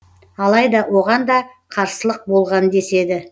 алайда оған да қарсылық болған деседі